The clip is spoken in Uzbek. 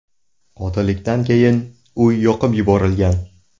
Qotillikdan keyin uy yoqib yuborilgan.